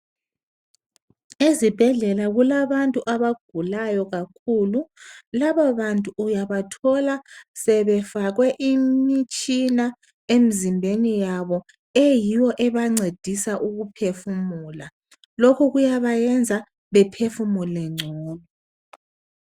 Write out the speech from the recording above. Ezibhedlela kulabantu abagulayo kakhulu, labo bantu uyabathola sebefakwe imitshina emizimbeni wabo eyiyo ebancedisa ukuthi be phefumula lokho kuyabayenza bephefumule ngcono.